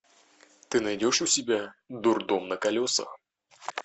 ты найдешь у себя дурдом на колесах